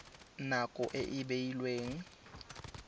na nako e e beilweng